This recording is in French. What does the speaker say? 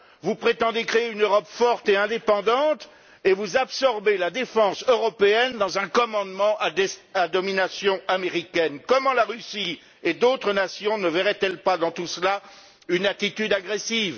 Vous prétendez créer une Europe forte et indépendante et vous absorbez la défense européenne dans un commandement à domination américaine. Comment la Russie et d'autres nations ne verraient elles pas dans tout cela une attitude agressive?